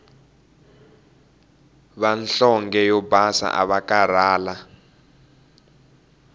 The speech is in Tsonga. vanhlonge yo basa avakarhala